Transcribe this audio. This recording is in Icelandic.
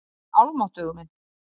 En almáttugur minn.